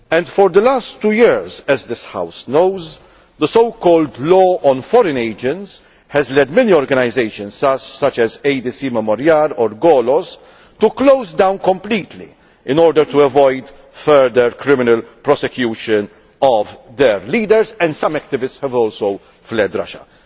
For the last two years, as this House knows, the so called law on foreign agents has led many organisations, such as ADC Memorial and Golos, to close down completely in order to avoid further criminal prosecution of their leaders, and some activists have also fled Russia.